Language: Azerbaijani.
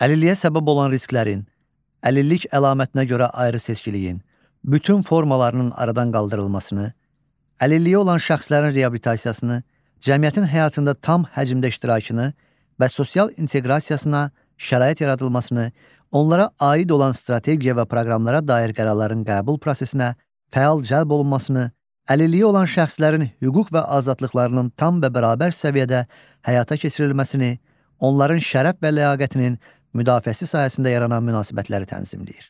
Əlilliyə səbəb olan risklərin, əlillik əlamətinə görə ayrı seçkiliyin, bütün formalarının aradan qaldırılmasını, əlilliyi olan şəxslərin reabilitasiyasını, cəmiyyətin həyatında tam həcmdə iştirakını və sosial inteqrasiyasına şərait yaradılmasını, onlara aid olan strategiya və proqramlara dair qərarların qəbul prosesinə fəal cəlb olunmasını, əlilliyi olan şəxslərin hüquq və azadlıqlarının tam və bərabər səviyyədə həyata keçirilməsini, onların şərəf və ləyaqətinin müdafiəsi sahəsində yaranan münasibətləri tənzimləyir.